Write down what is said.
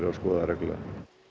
að skoða það reglulega